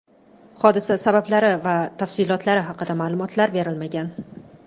Hodisa sabablari va tafsilotlari haqida ma’lumotlar berilmagan.